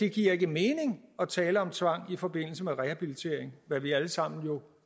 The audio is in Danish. giver mening at tale om tvang i forbindelse med rehabilitering hvad vi alle sammen jo